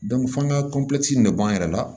f'an ka in de b'an yɛrɛ la